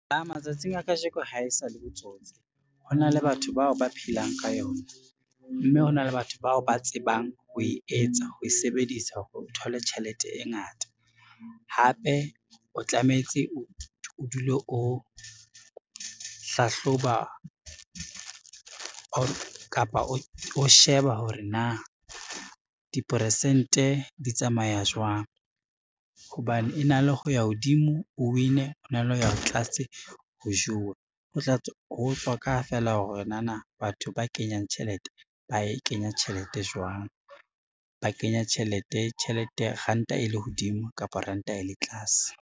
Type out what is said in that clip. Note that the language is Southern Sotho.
Matsatsing a kajeko ha e sa le botsotsi, hona le batho bao ba phelang ka yona, mme hona le batho bao ba tsebang ho e etsa, ho e sebedisa ho thola tjhelete e ngata. Hape o tlametse o dule o hlahloba, kapa o sheba hore na diporesente di tsamaya jwang hobane e na le ho ya hodimo, o win-e, e na le ho ya tlase o jowe. Ho tswa ka feela hore nana batho ba kenyang tjhelete ba e kenya tjhelete jwang, ba kenya tjhelete ranta e le hodimo kapa ranta e le tlase.